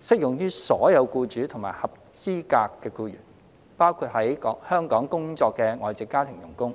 適用於所有僱主和合資格僱員，包括在港工作的外籍家庭傭工。